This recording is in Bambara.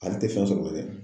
Ale tɛ fɛn sɔrɔ dɛ.